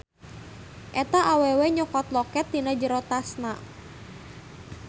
Eta awewe nyokot loket tina jero tasna.